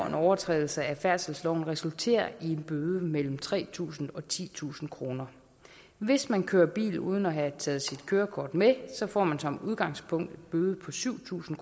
en overtrædelse af færdselsloven resulterer i en bøde på mellem tre tusind og titusind kroner hvis man kører bil uden at have taget sit kørekort med får man som udgangspunkt en bøde på syv tusind